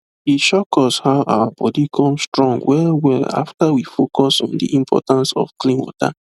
e shock us how our body come strong wellwell after we focus on the importance of clean water